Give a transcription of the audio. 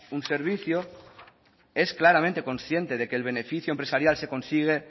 un servicio es claramente consciente de que el beneficio empresarial se consigue